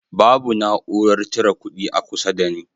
Babu na'urar cire kudi a kusa da ni